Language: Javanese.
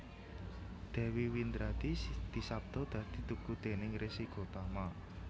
Dewi Windradi disabda dadi tugu déning Resi Gotama